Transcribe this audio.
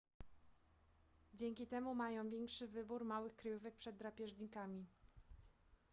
dzięki temu mają większy wybór małych kryjówek przed drapieżnikami